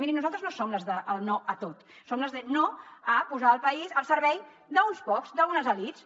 mirin nosaltres no som les del no a tot som les de no a posar el país al servei d’uns pocs d’unes elits